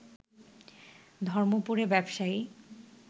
ধর্মপুরে ব্যবসায়ী